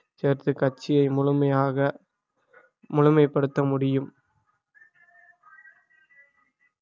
சேர்த்து கட்சியை முழுமையாக முழுமைப்படுத்த முடியும்